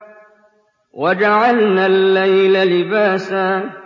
وَجَعَلْنَا اللَّيْلَ لِبَاسًا